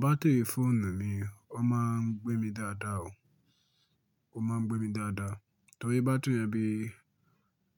Batiri fóònù ni ó máa ń gbé mi dáadáa o, ó máa ń gbé mi dáadáa. Torí batiri ẹbí